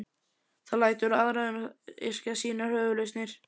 Það lætur aðra um að yrkja sínar höfuðlausnir.